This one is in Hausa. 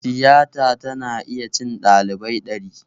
Tiyata tana iya cin ɗalibai ɗari